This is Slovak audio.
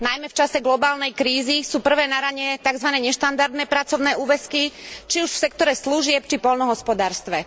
Najmä v čase globálnej krízy sú prvé na rane takzvané neštandardné pracovné úväzky, či už v sektore služieb či poľnohospodárstve.